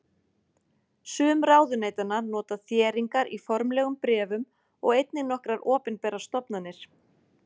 Sum ráðuneytanna nota þéringar í formlegum bréfum og einnig nokkrar opinberar stofnanir.